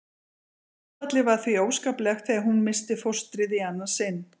Áfallið var því óskaplegt þegar hún missti fóstrið í annað sinn.